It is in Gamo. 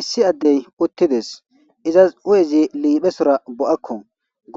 Issi adeti uridesi , izasi hu'ezi liphesora bo'ako,